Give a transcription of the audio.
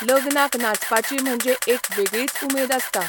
लग्नाक नाचपाची म्हणजे एक वेगळीच उमेद आसता.